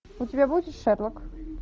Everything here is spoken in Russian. у тебя будет шерлок